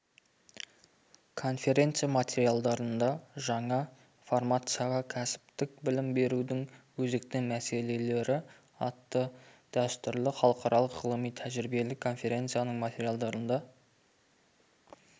конференция материалдарында жаңа формацияда кәсіптік білім берудің өзекті мәселелері атты -дәстүрлі халықаралық ғылыми-тәжірибелік конференцияның материалдарында